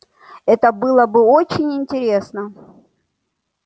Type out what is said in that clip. это было бы очень интересно